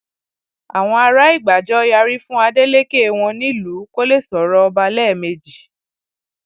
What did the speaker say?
àwọn ará ìgbàjọ yarí fún adelèké wọn nílùú kó lè sọrọ ọba lẹẹmejì